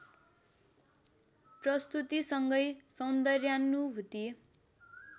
प्रस्तुतिसँगै सौन्दर्यानुभूति